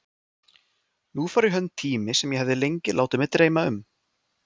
Nú fór í hönd tími sem ég hafði lengi látið mig dreyma um.